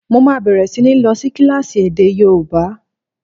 Mo máa bẹ̀rẹ̀ sí ní lọ sí kílásì èdè yóòbá